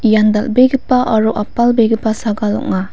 ian dal·begipa aro apalbegipa sagal ong·a.